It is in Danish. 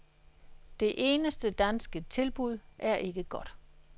Det eneste danske tilbud er ikke godt.